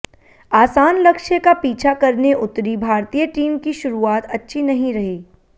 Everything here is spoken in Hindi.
आसान लक्ष्य का पीछा करने उतरी भारतीय टीम की शुरुआत अच्छी नहीं रही